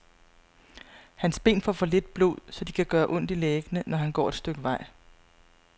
Hans ben får for lidt blod, så de kan gøre ondt i læggene, når han går et stykke vej.